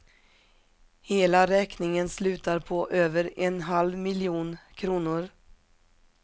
Hela räkningen slutar på över en halv miljon kronor.